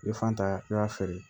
I bɛ fan ta i b'a feere